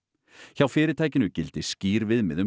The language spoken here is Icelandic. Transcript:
hjá fyrirtækinu gildi skýr viðmið um